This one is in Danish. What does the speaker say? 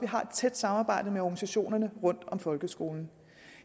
har et tæt samarbejde med organisationerne rundt om folkeskolen